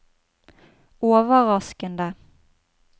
overraskende